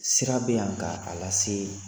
Sira bɛ yan ka a lase